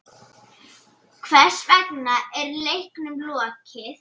Hvers vegna er leiknum lokið?